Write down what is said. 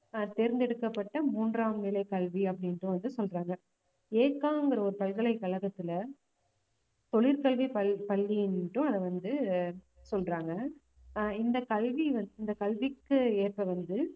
ஆஹ் தேர்ந்தெடுக்கப்பட்ட மூன்றாம் நிலைக் கல்வி அப்படின்ற வந்து சொல்றாங்க பல்கலைக்கழகத்துல தொழிற்கல்வி பள்~ பள்ளியை மட்டும் அத வந்து ஆஹ் சொல்றாங்க ஆஹ் இந்த கல்வி வந்~ இந்த கல்விக்கு ஏற்ப வந்து